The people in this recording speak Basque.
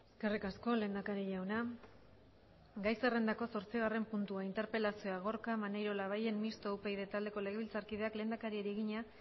eskerrik asko lehendakari jauna gai zerrendako zortzigarren puntua interpelazioa gorka maneiro labayen mistoa upyd taldeko legebiltzarkideak lehendakariari egina